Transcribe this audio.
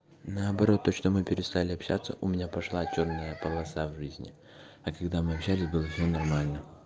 наоборот то что мы перестали общаться у меня пошла чёрная полоса в жизни а когда мы общались было все нормально